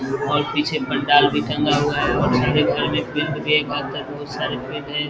और पीछे भंडार भी टंगा हुआ है। बोहोत सारे